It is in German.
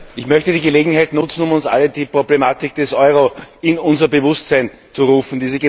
Ich möchte die Gelegenheit nutzen, um uns allen die Problematik des Euro in unser Bewusstsein zu rufen.